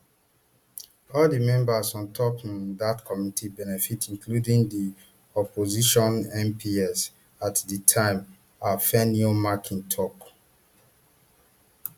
all di members on top um dat committee benefit including di opposition mps at di time afenyomarkin tok